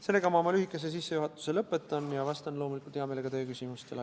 Sellega ma oma lühikese sissejuhatuse lõpetan ja vastan loomulikult hea meelega teie küsimustele.